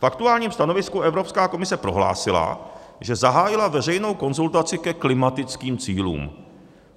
V aktuálním stanovisku Evropská komise prohlásila, že zahájila veřejnou konzultaci ke klimatickým cílům.